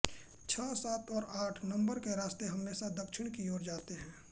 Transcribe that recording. छह सात और आठ नंबर के रास्ते हमेशा दक्षिण की ओर जाते हैं